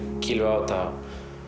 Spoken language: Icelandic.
kýlum við á þetta